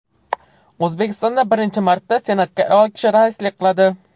O‘zbekistonda birinchi marta Senatga ayol kishi raislik qiladi.